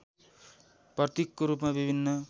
प्रतीकको रूपमा विभिन्न